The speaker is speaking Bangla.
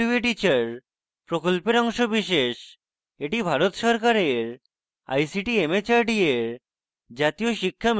এটি ভারত সরকারের ict mhrd এর জাতীয় শিক্ষা mission দ্বারা সমর্থিত